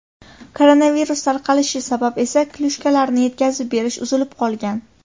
Koronavirus tarqalishi sabab esa klyushkalarni yetkazib berish uzilib qolgan.